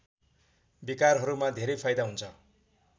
विकारहरूमा धेरै फाइदा हुन्छ